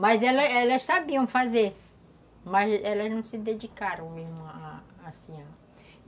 Mas elas elas sabiam fazer, mas elas não se dedicaram assim